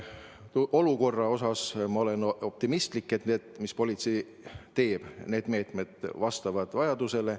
Ma olen selles mõttes optimistlik, et need meetmed, mida politsei rakendab, vastavad vajadusele.